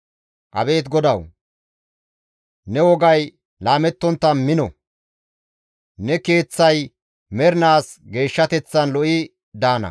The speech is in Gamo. Abeet GODAWU! Ne wogay laamettontta mino; ne Keeththay mernaas geeshshateththan lo7i daana.